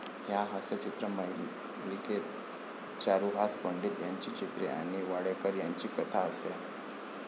या हस्यचित्र मालिकेत चारुहास पंडित यांची चित्रे आणि वाडेकर यांची कथा असे.